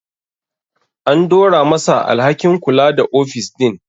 An dora ma sa alhakin kula da ofis din